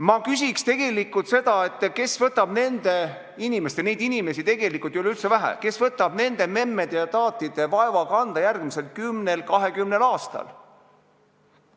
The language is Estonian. Ma küsin tegelikult seda, kes võtab nende inimeste – ja neid inimesi tegelikult ei ole üldse vähe –, nende memmede ja taatide vaeva kanda järgmisel kümnel-kahekümnel aastal?